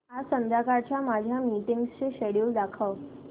आज संध्याकाळच्या माझ्या मीटिंग्सचे शेड्यूल दाखव